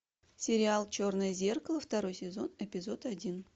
сериал черное зеркало второй сезон эпизод один